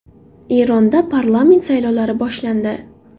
Eronda parlament saylovlari boshlandi.